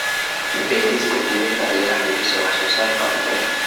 Beerista dhibicda ayaa xoojisay wax soo saarka cuntada.